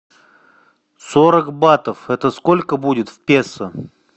сорок батов это сколько будет в песо